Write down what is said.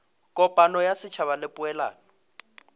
kopano ya setšhaba le poelano